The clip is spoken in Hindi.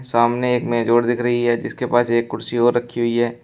सामने एक मेज़ और दिख रही है जिसके पास एक कुर्सी और रखी हुई है।